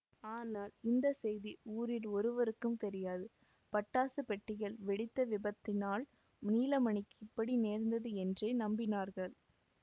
ஆனால் இந்த செய்தி ஊரில் ஒருவருக்கும் தெரியாது பட்டாசுப் பெட்டிகள் வெடித்த விபத்தினால் நீலமணிக்கு இப்படி நேர்ந்தது என்றே நம்பினார்கள்